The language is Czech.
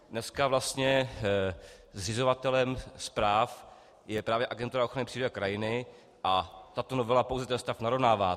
Dneska vlastně zřizovatelem správ je právě Agentura ochrany přírody a krajiny a tato novela pouze ten stav narovnává.